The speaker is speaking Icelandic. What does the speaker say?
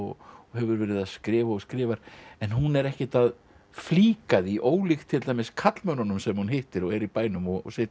og hefur verið að skrifa og skrifa en hún er ekkert að flíka því ólíkt til dæmis karlmönnunum sem hún hittir og eru í bænum og sitja